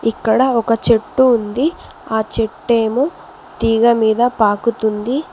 ఇక్కడ ఒక చెట్టు ఉంది ఆ చెట్టు ఏమో తీగ మీద పాకుతుంది.